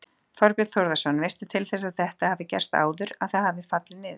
Þorbjörn Þórðarson: Veistu til þess að þetta hafi gerst áður, að það hafi fallið niður?